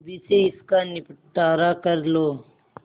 अभी से इसका निपटारा कर लो